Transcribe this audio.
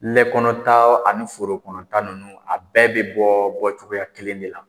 lɛ kɔnɔnta ani foro kɔnɔnta ninnu a bɛɛ bɛ bɔ cogoyaya kelen de la.